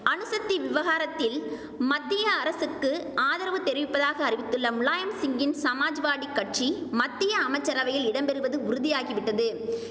அணுசத்தி விவகாரத்தில் மத்திய அரசுக்கு ஆதரவு தெரிவிப்பதாக அறிவித்துள்ள முலாயம் சிங்கின் சமாஜ்வாடி கட்சி மத்திய அமைச்சரவையில் இடம் பெறுவது உறுதியாகிவிட்டது